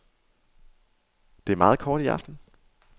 Det er meget kort i aften.